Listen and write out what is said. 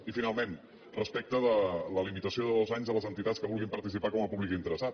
i finalment respecte de la limitació de dos anys a les entitats que vulguin participar com a públic interessat